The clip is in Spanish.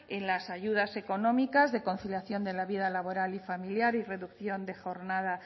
en las ayudas económicas de conciliación de la vida laboral y familiar y reducción de jornada